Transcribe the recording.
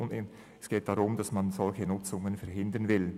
Es geht darum, dass man solche Nutzungen verhindern will.